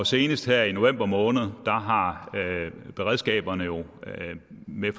senest her i november måned har beredskaberne jo med